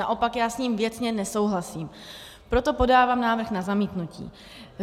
Naopak já s ním věcně nesouhlasím, proto podávám návrh na zamítnutí.